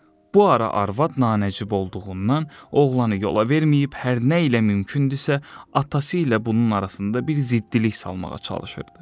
Bu ara arvad nanəcib olduğundan, oğlanı yola verməyib, hər nə ilə mümkündürsə, atası ilə bunun arasında bir ziddilik salmağa çalışırdı.